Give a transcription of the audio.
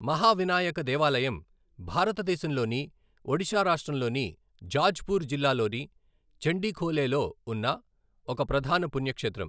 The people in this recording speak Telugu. మహావినాయక దేవాలయం భారతదేశంలోని ఒడిషా రాష్ట్రంలోని జాజ్పూర్ జిల్లాలోని చండిఖోలేలో ఉన్న ఒక ప్రధాన పుణ్యక్షేత్రం.